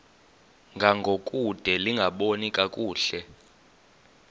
ngangokude lingaboni kakuhle